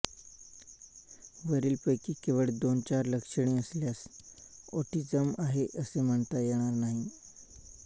वरील पैकी केवळ दोनचार लक्षणे असल्यास ऑटिझम आहे असे म्हणता येणार नाही